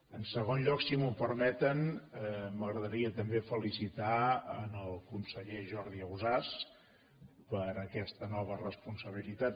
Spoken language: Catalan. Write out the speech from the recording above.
en segon lloc si m’ho permeten m’agradaria també felicitar el conseller jordi ausàs per aquesta nova responsabilitat